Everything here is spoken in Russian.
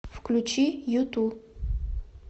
включи юту